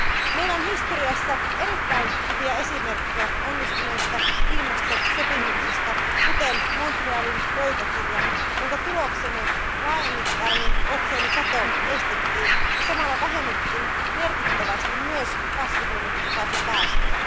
Meillä on historiassa erittäin hyviä esimerkkejä onnistuneista ilmastosopimuksista, kuten Montrealin pöytäkirja, jonka tuloksena laajamittainen otsonikato estettiin, ja samalla vähennettiin merkittävästi myös kasvihuonekaasupäästöjä.